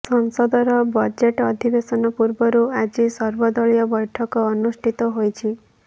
ସଂସଦର ବଜେଟ୍ ଅଧିବେଶନ ପୂର୍ବରୁ ଆଜି ସର୍ବଦଳୀୟ ବୈଠକ ଅନୁଷ୍ଠିତ ହୋଇଛି